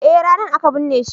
eh ranan aka binne shi